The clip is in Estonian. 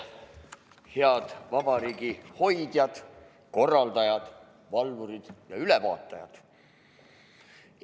Head vabariigi hoidjad, korraldajad, valvurid ja ülevaatajad!